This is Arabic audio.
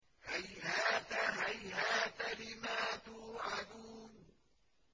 ۞ هَيْهَاتَ هَيْهَاتَ لِمَا تُوعَدُونَ